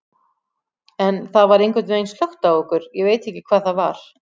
En það var einhvern veginn slökkt á okkur, ég veit ekki hvað það var.